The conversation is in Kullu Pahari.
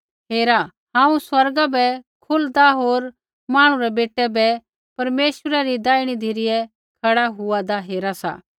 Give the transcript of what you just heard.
हेरा हांऊँ स्वर्गा बै खुलदा होर मांहणु रै बेटै बै परमेश्वरै री दैहिणी धिरै खड़ा हुआदा हेरा सा